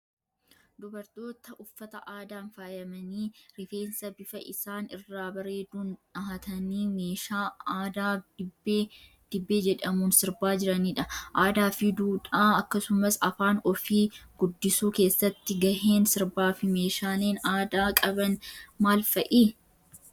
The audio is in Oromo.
Dubartootaa uffata aadaan faayamanii, rifeensa bifa isaan irraa bareeduun dhahatanii, meeshaa aadaa dibbee jedhamuun sirbaa jiranidha. Aadaa fi duudhaa akkasumas afaan ofii guddisuu keessatti gaheen sirbaa fi meeshaaleen aadaa qaban maal fa'idha?